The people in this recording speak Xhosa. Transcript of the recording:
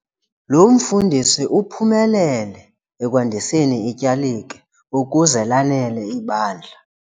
Lo mfundisi uphumelele ekwandiseni ityalike ukuze lanele ibandla.